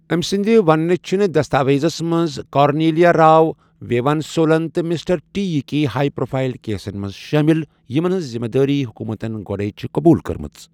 أمۍ سٕنٛدِ وننہ چھِنہٕ دستاویزَس منٛز کارنیلیا راو، ویوین سولن تہٕ 'مسٹر ٹی'یٕکۍ ہایی پروفایل کیسن منز شٲمِل، یِمَن ہنزذمہٕ دٲری حکوٗمتَن گۄڈَےچھِ قبوٗل کٔرمٕژ۔